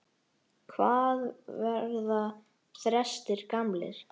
Hvað verða þrestir gamlir?